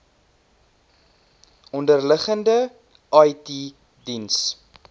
onderliggende it diens